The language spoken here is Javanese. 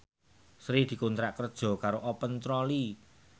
Sri dikontrak kerja karo Open Trolley